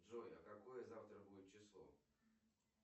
джой а какое завтра будет число